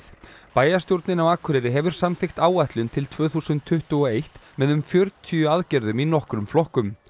bæjarstjórnin á Akureyri hefur samþykkt áætlun til tvö þúsund tuttugu og eitt með um fjörutíu aðgerðum í nokkrum flokkum